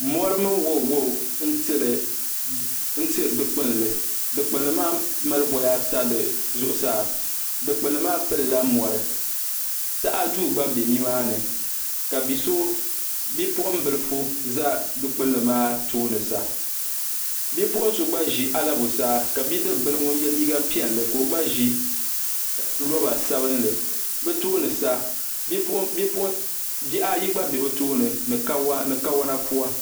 mɔri mini waɔ waɔ n-tili du' kpulli du' kpulli maa mali voya ata di zuɣusaa du' kpulli maa pili la mɔri taha duu gba be ni maa ni ka bi' so bipuɣin' bilifu za du'kpulli maa tooni sa bipuɣin' so gba ʒi alabusaa ka bidib' bila ŋun ye liiga piɛlli ka o gba ʒi lɔba sabinli bɛ tooni sa bih' ayi gba be bɛ tooni ni kawana pua.